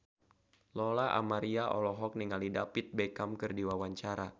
Lola Amaria olohok ningali David Beckham keur diwawancara